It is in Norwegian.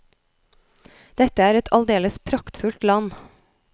Dette er et aldeles praktfullt land!